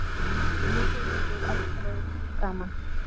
hvísluðum við eldrauð í framan.